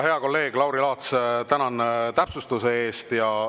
Hea kolleeg Lauri Laats, tänan täpsustuse eest!